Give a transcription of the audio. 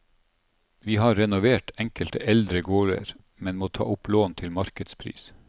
Vi har renovert enkelte eldre gårder, men må ta opp lån til markedspris.